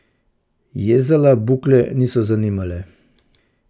Jezala bukle niso zanimale.